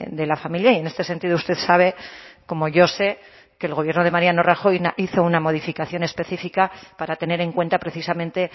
de la familia y en este sentido usted sabe como yo sé que el gobierno de mariano rajoy hizo una modificación específica para tener en cuenta precisamente